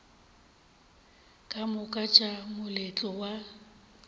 ka moka tša moletlo wa